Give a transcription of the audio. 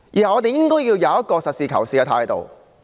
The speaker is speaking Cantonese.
我們應該抱持實事求是的態度。